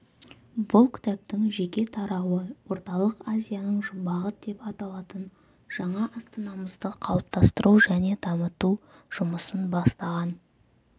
бұл кітаптың жеке тарауы орталық азияның жұмбағы деп аталатын жаңа астанамызды қалыптастыру және дамыту жұмысын бастаған